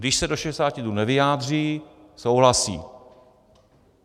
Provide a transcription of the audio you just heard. Když se do 60 dnů nevyjádří, souhlasí.